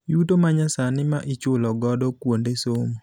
Yuto ma nyasani ma ichulo godo kuonde somo.